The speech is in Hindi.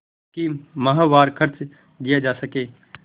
कि माहवार खर्च दिया जा सके